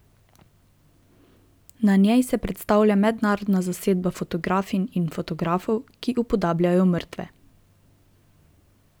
Na njej se predstavlja mednarodna zasedba fotografinj in fotografov, ki upodabljajo mrtve.